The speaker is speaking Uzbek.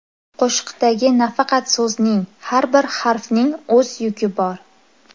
Qo‘shiqdagi nafaqat so‘zning har bir harfning o‘z yuki bor.